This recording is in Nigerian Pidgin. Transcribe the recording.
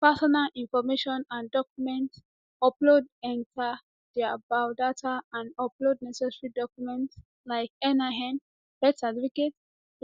personal information and document upload enta dia biodata and upload necessary documents like nin birth certificate